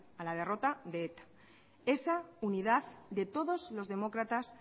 a la derrota de eta esa unidad de todos los demócratas